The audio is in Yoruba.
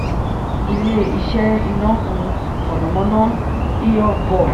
ile-iṣẹ iná um mọ̀nàmọ́ná ihovbor